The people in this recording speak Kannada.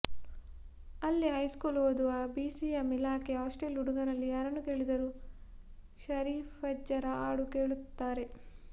ಅಲ್ಲಿ ಹೈಸ್ಕೂಲು ಓದುವ ಬಿಸಿಎಂ ಇಲಾಖೆ ಹಾಸ್ಟೇಲ್ ಹುಡುಗರಲ್ಲಿ ಯಾರನ್ನು ಕೇಳಿದರೂ ಷರೀಫಜ್ಜರ ಹಾಡು ಹೇಳುತ್ತಾರೆ